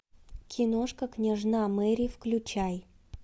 киношка княжна мэри включай